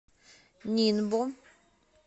нинбо